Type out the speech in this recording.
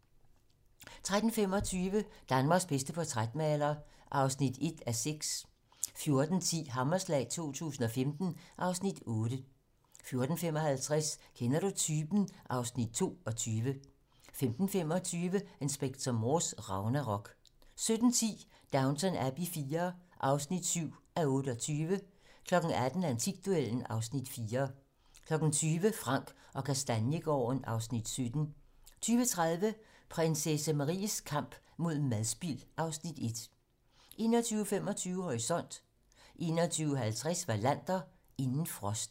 13:25: Danmarks bedste portrætmaler (1:6) 14:10: Hammerslag 2015 (Afs. 8) 14:55: Kender du typen? (Afs. 22) 15:25: Inspector Morse: Ragnarok 17:10: Downton Abbey IV (7:28) 18:00: Antikduellen (Afs. 4) 20:00: Frank & Kastaniegaarden (Afs. 17) 20:30: Prinsesse Maries kamp mod madspild (Afs. 1) 21:25: Horisont 21:50: Wallander: Inden frosten